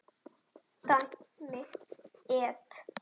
Dæmi: et.